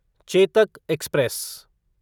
Chetak express